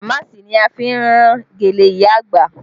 Damaasi ni a fi rán gèlè ìyá àgbà